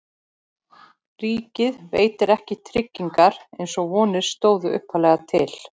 Ríkið veitir ekki tryggingar eins og vonir stóðu upphaflega til.